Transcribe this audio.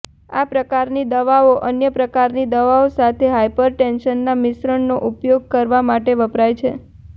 આ પ્રકારની દવાઓ અન્ય પ્રકારની દવાઓ સાથે હાયપરટેન્શનના મિશ્રણનો ઉપયોગ કરવા માટે વપરાય છે